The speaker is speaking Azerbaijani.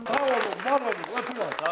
Sağ olun, var olun, öpürəm.